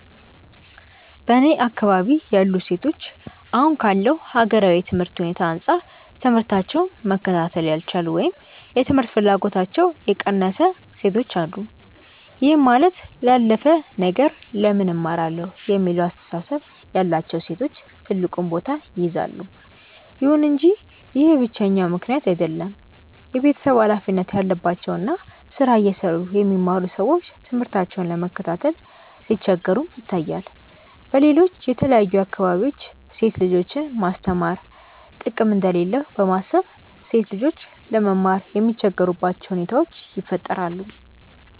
በእኔ አካባቢ ያሉ ሴቶች አሁን ካለው ሀገራዊ የትምህርት ሁኔታ አንጻር ትምህታቸውን መከታተል ያልቻሉ ወይም የትምህርት ፍላጎታቸው የቀነሰ ሴቶች አሉ። ይህም ማለት ላላፍ ነገር ለምን እማራለሁ የሚለው አስተሳሰብ ያላቸው ሴቶች ትልቁን ቦታ ይይዛሉ። ይሁን እንጂ ይህ ብቸኛው ምክንያት አይደለም። የቤተሰብ ሀላፊነት ያለባቸው እና ስራ እየሰሩ የሚማሩ ሰዎች ትምህርታቸውን ለመከታተል ሲቸገሩም ይታያል። በሌሎች የተለያዩ አካባቢዎች ሴት ልጆችን ማስተማር ጥቅም እንደሌለው በማሰብ ሴት ልጆች ለመማር የሚቸገሩባቸው ሁኔታዎች ይፈጠራሉ።